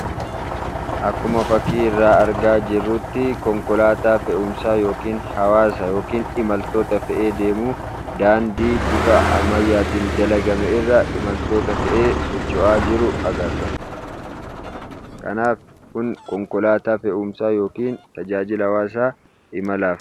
Akkuma fakkii irraa argaa jirrutti konkolaataa fe'umsaa yookaan hawaasa yookaan imaltoota fe'ee deemuu. Daandii bifa ammayya'aan dalagame irra imaltoota fe'ee socho'aa jiru agarra. Kanaaf kun konkolaataa fe'umsaa yookaan tajaajila hawaasaa imalaati.